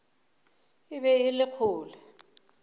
e be e le kgole